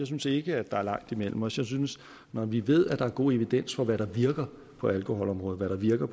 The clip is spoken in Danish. synes ikke der er langt imellem os jeg synes at når vi ved at der er god evidens for hvad der virker på alkoholområdet hvad der virker